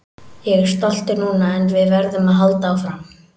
Ég er stoltur núna en við verðum að halda áfram.